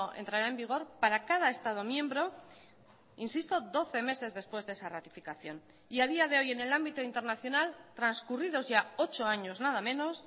entrará en vigor para cada estado miembro insisto doce meses después de esa ratificación y a día de hoy en el ámbito internacional transcurridos ya ocho años nada menos